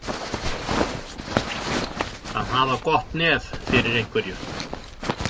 Að hafa gott nef fyrir einhverju